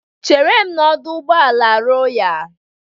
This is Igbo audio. Chere m n'ọdọ ụgbọala Royalu.